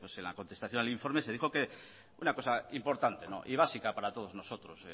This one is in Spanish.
en la contestación al informe se dijo que una cosa importante y básica para todos nosotros